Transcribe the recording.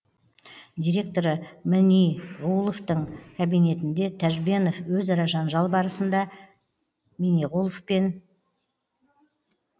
директоры міниғуловтың кабинетінде тәжбенов өзара жанжал барысында міниғұлов пен